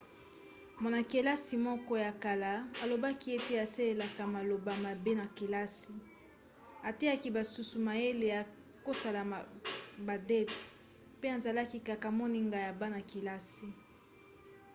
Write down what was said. mwana-kelasi moko ya kala alobaki ete 'asalelaka maloba mabe na kelasi ateyaki basusu mayele ya kosala badate mpe azalaki kaka 'moninga' ya bana-kelasi